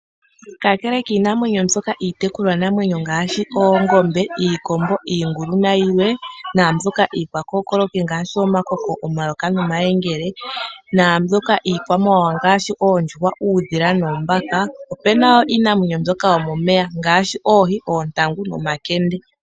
Kakele kiinamwenyo mbyoka iitekulwa namwenyo ngashi oongombe, iikombo, iigulu nayilwe nambyoka iikwakokoloki ngashi omakoko, omayoka nomayengele nambyoka iikwamawawa ngashi oondjuhwa, uudhila noombaka opena woo iinamwenyo mbyoka yomomeya ngashi oohi, ontagu nomakende.